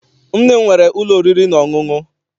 Nne m nwere ụlọ oriri na ọṅụṅụ.